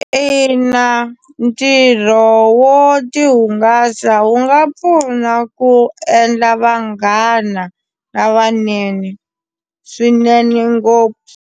Ina, ntirho wo ti hungasa wu nga pfuna ku endla vanghana lavanene swinene ngopfu.